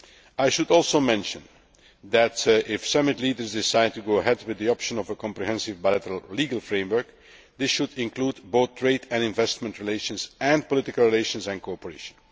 I should also mention that, if the summit leaders decide to go ahead with the option of a comprehensive bilateral legal framework, this should include both trade and investment relations and political relations and cooperation.